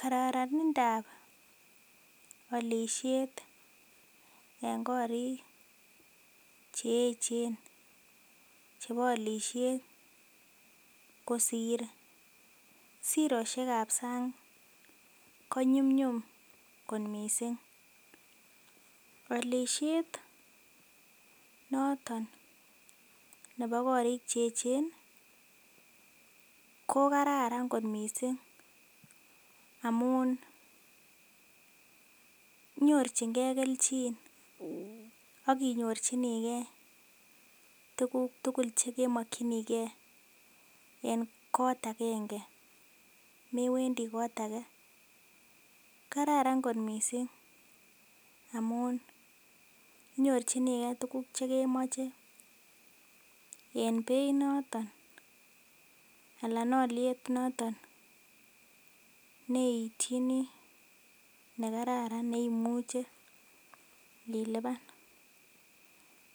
Kororonindap olishet en korik cheechen chebo olisiet kosir sirosiek ab sang ko nyumnyum kot missing olishet noton nebo korik cheechen ko kararan kot missing amun nyorchingee kelchin ak inyorchigee tuguk tugul chekimokyingee en kot agenge mewendii kot age. kararan kot missing amun inyorchigee tuguk chekemoche en beit noton anan oliet noton neityini nekararan neimuche ilipan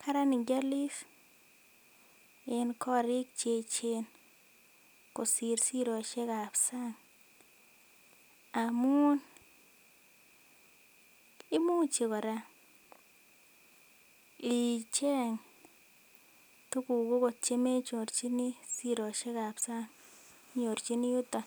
karan ngiolis en korik cheechen kosir sirosiek ab sang amun imuch kora icheng tuguk okot chemenyorchini sirosiek ab sang inyorchini yuton